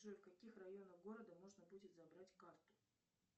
джой в каких районах города можно будет забрать карту